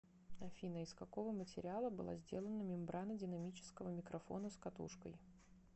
афина из какого материала была сделана мембрана динамического микрофона с катушкой